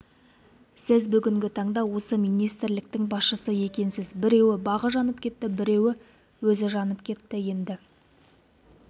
сіз бүгіні таңда осы министрліктің басшысы екенсіз біреуі бағы жанып кетті біреуі өзі жанып кетті енді